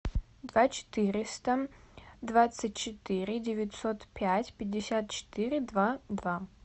два четыреста двадцать четыре девятьсот пять пятьдесят четыре два два